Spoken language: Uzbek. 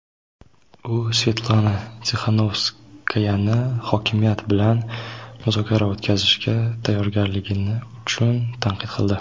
u Svetlana Tixanovskayani hokimiyat bilan muzokara o‘tkazishga tayyorgarligi uchun tanqid qildi.